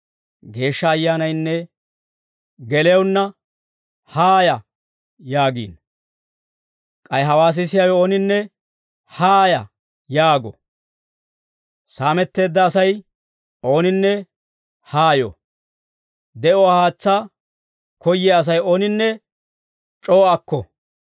Geeshsha Ayyaanaynne gelewunna, «Haaya» yaagiino. K'ay hawaa sisiyaawe ooninne, «Haaya» yaago. Saametteedda Asay ooninne haa yo. De'uwaa haatsaa koyyiyaa Asay ooninne c'oo akko.